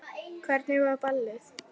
Hvernig var ballið?